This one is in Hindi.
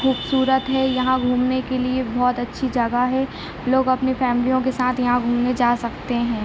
खूबसूरत हैयहाँ घूमने के लिए बहुत अच्छी जगह हैलोग अपने फामलिओ के साथ घूमने जा सकते है।